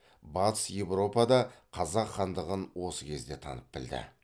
батыс еуропа да қазақ хандығын осы кезде танып білді